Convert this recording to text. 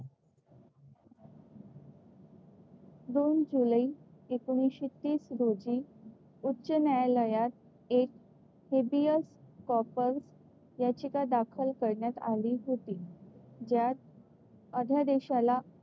दोन जुलै एकोणीसशे तीस रोजी उच्च न्यायालयात एक हेबियस कॉर्पस याचिका दाखल करण्यात आली होती. ज्यात अध्यादेशाला,